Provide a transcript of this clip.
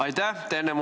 Aitäh!